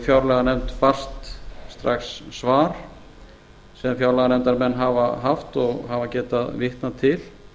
fjárlaganefnd barst strax svar sem fjárlaganefndarmenn hafa haft og hafa getað vitna til